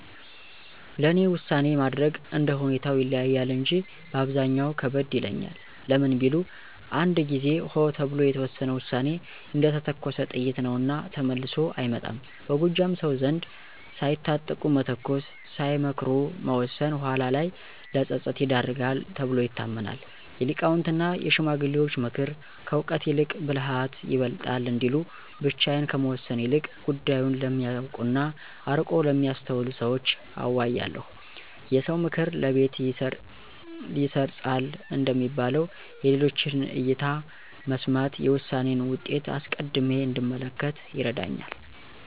ለእኔ ውሳኔ ማድረግ እንደ ሁኔታው ይለያያል እንጂ በአብዛኛው ከበድ ይለኛል። ለምን ቢሉ፣ አንድ ጊዜ "ሆ" ተብሎ የተወሰነ ውሳኔ እንደተተኮሰ ጥይት ነውና ተመልሶ አይመጣም። በጎጃም ሰው ዘንድ "ሳይታጠቁ መተኮስ፣ ሳይመክሩ መወሰን" ኋላ ላይ ለፀጸት ይዳርጋል ተብሎ ይታመናል። የሊቃውንትና የሽማግሌዎች ምክር፦ "ከእውቀት ይልቅ ብልሃት ይበልጣል" እንዲሉ፣ ብቻዬን ከመወሰን ይልቅ ጉዳዩን ለሚያውቁና አርቆ ለሚያስተውሉ ሰዎች አዋያለሁ። "የሰው ምክር ለቤት ይሰርፃል" እንደሚባለው፣ የሌሎችን እይታ መስማት የውሳኔዬን ውጤት አስቀድሜ እንድመለከት ይረዳኛል።